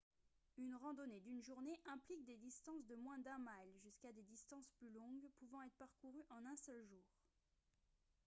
une randonnée d'une journée implique des distances de moins d'un mile jusqu'à des distances plus longues pouvant être parcourues en un seul jour